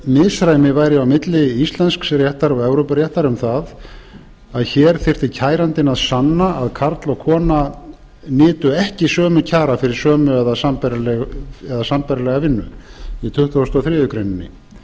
misræmi væri á milli íslensks réttar og evrópuréttar um það að hér þyrfti kærandinn að sanna að karl og kona nytu ekki sömu kjara fyrir sömu eða sambærilega vinnu í tuttugasta og þriðju grein